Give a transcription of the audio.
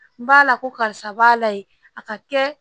N b'a la ko karisa b'a la ye a ka kɛ